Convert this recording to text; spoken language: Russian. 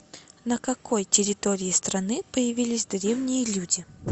на какой территории страны появились древние люди